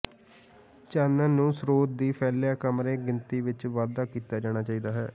ਚਾਨਣ ਨੂੰ ਸਰੋਤ ਦੀ ਫੈਲਿਆ ਕਮਰੇ ਗਿਣਤੀ ਵਿੱਚ ਵਾਧਾ ਕੀਤਾ ਜਾਣਾ ਚਾਹੀਦਾ ਹੈ